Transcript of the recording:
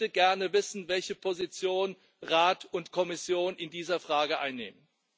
Ich möchte gerne wissen, welche Position Rat und Kommission in dieser Frage einnehmen.